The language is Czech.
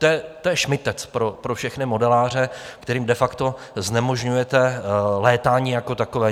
To je šmytec pro všechny modeláře, kterým de facto znemožňujete létání jako takové.